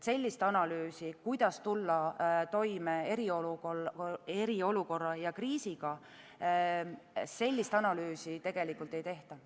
Sellist analüüsi, kuidas tulla toime eriolukorra ja kriisiga, tegelikult ei tehta.